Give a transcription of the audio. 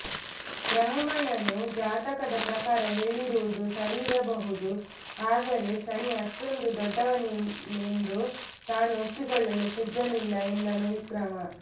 ಬ್ರಾಹ್ಮಣನು ಜಾತಕದ ಪ್ರಕಾರ ಹೇಳಿರುವುದು ಸರಿಯಿರಬಹುದು ಆದರೆ ಶನಿ ಅಷ್ಟೊಂದು ದೊಡ್ದವನೆಂದು ತಾನು ಒಪ್ಪಿಕೊಳ್ಳಲು ಸಿದ್ಧನಿಲ್ಲ ಎಂದನು ವಿಕ್ರಮ